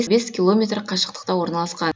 бес километр қашықтықта орналасқан